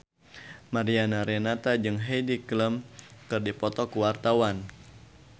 Mariana Renata jeung Heidi Klum keur dipoto ku wartawan